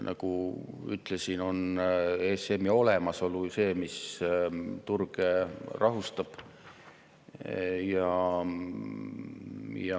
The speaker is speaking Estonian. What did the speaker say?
Nagu ütlesin, on ESM‑i olemasolu see, mis turge rahustab.